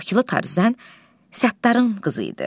Bakılı Tarzən Səttarın qızı idi.